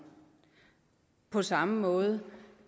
på samme måde